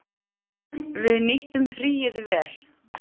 Við nýttum fríið vel.